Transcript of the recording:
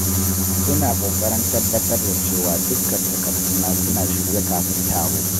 Ina kokarin tabbatar da cewa dukkan takarduna suna shirye kafin taro.